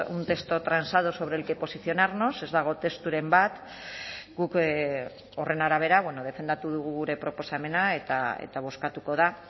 un texto transado sobre el que posicionarnos ez dago testuren bat guk horren arabera defendatu dugu gure proposamena eta bozkatuko da